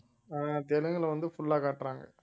ஆஹ் தெலுங்குல வந்து full ஆ காட்டுறாங்க